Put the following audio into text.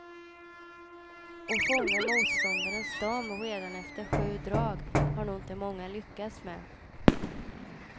Att fånga motståndarens dam redan efter sju drag har nog inte många lyckats med.